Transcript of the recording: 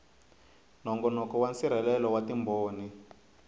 nongonoko wa nsirhelelo wa timbhoni